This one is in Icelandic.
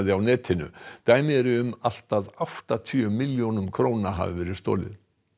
á netinu dæmi eru um allt að áttatíu milljónum króna hafi verið stolið